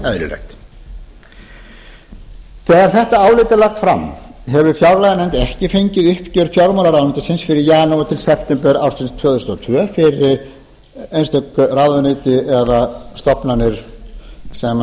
eðlilegt þegar þetta álit er lagt fram hefur fjárlaganefnd ekki fengið uppgjör fjármálaráðuneytis fyrir janúar til september ársins tvö þúsund og tvö fyrir einstök ráðuneyti eða stofnanir sem